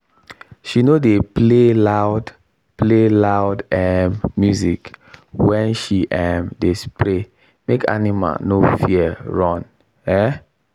she no dey play loud play loud um music when she um dey spray make animal no fear run. um